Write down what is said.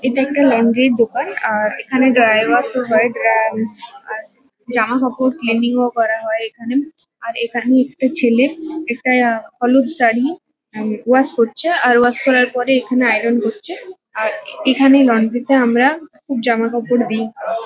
এটা একটা লন্ড্রি -র দোকান। আর এখানে ড্রাই ওয়াশ -ও হয়। ড্রা আশ ড্রাই ওয়াশ জামাকাপড় ক্লিনিং -ও করা হয় এখানে। আর এখানে একটা ছেলে একটা হলুদ শাড়ি উম ওয়াশ করছে। আর ওয়াশ করার পরে এখানে আইরন করছে। আর এখানে আমরা লন্ড্রি -তে আমরা জামাকাপড় দিই।